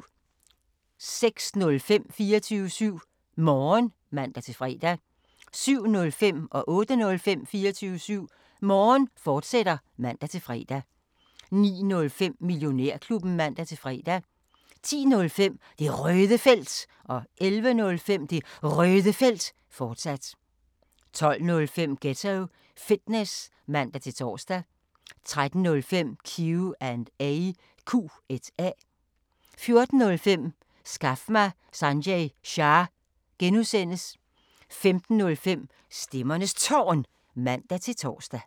06:05: 24syv Morgen (man-fre) 07:05: 24syv Morgen, fortsat (man-fre) 08:05: 24syv Morgen, fortsat (man-fre) 09:05: Millionærklubben (man-fre) 10:05: Det Røde Felt 11:05: Det Røde Felt, fortsat 12:05: Ghetto Fitness (man-tor) 13:05: Q&A 14:05: Skaf mig Sanjay Shah! (G) 15:05: Stemmernes Tårn (man-tor)